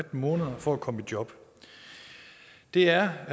måneder for at komme i job det er